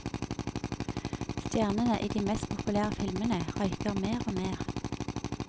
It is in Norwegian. Stjernene i de mest populære filmene røyker mer og mer.